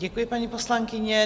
Děkuji, paní poslankyně.